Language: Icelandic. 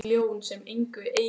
Æ, ég veit það ekki almennilega.